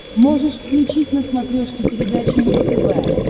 можешь включить на смотрешке передачу его тв